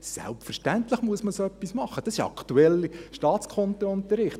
Selbstverständlich muss man so etwas machen, das ist ein aktueller Staatskundeunterricht.